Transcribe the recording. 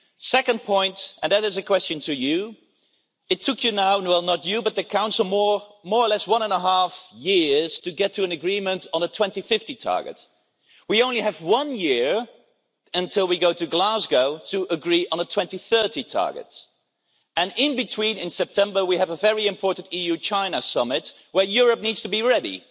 Second point, and that is a question to you, it took you now, and well not you, but the Council, more or less one and half years to get to an agreement on a 2050 target. We only have one year until we go to Glasgow to agree on a 2030 target, and in between, in September we have a very important EU China summit, where Europe needs to be ready.